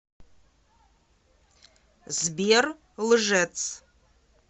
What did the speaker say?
сбер лжец